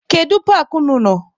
Kedu paakị unu nọ?